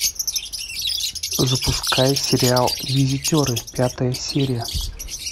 запускай сериал визитеры пятая серия